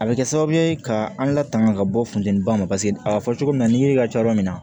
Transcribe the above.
A bɛ kɛ sababu ye ka an latanga ka bɔ funtɛniba ma paseke a bɛ fɔ cogo min na ni yiri ka ca yɔrɔ min na